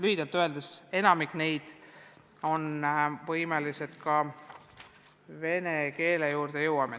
Venekeelsete materjalide juurde jõuame.